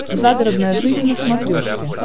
загородная жизнь на смотрешке